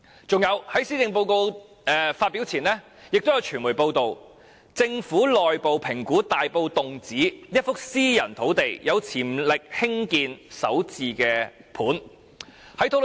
此外，在施政報告發表前，亦有傳媒報道，政府內部評估大埔洞梓一幅私人土地有潛力興建首置單位。